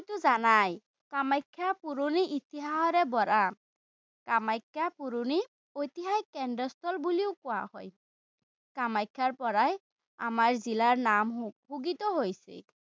জানাই, কামাখ্যা পুৰণি ইতিহাসেৰে ভৰা। কামাখ্যা পুৰণি ঐতিহাসিক কেন্দ্ৰস্থল বুলি কোৱা হয়। কামাখ্যাৰপৰাই আমাৰ জিলাৰ নাম ঘোষিত হৈছে।